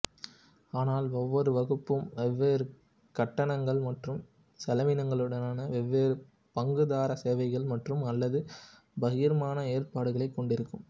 ஆனால் ஒவ்வொரு வகுப்பும் வெவ்வேறு கட்டணங்கள் மற்றும் செலவினங்களுடனான வெவ்வேறு பங்குதாரர் சேவைகள் மற்றும்அல்லது பகிர்மான ஏற்பாடுகளைக் கொண்டிருக்கும்